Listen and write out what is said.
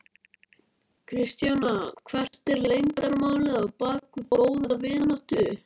Kristjana: Hvert er leyndarmálið á bak við góða vináttu?